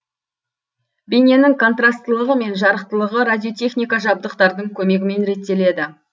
бейненің контрастылығы мен жарықтылығы радиотехника жабдықтардың көмегімен реттеледі